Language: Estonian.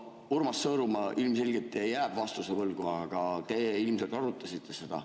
Urmas Sõõrumaa ilmselgelt jääb vastuse võlgu, aga te ilmselt arutasite seda.